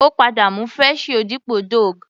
Ó padà mú fresh you dípò Doogh.